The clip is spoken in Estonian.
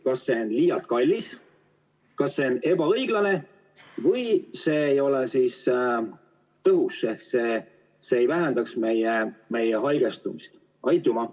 Kas see on liialt kallis, kas see on ebaõiglane või see ei ole piisavalt tõhus, et vähendada meie haigestumist?